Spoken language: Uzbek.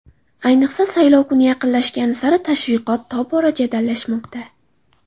Ayniqsa, saylov kuni yaqinlashgani sari tashviqot tobora jadallashmoqda.